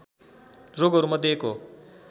रोगहरूमध्ये एक हो